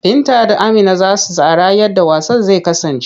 Binta da Amina za su tsara yadda wasan zai kasance.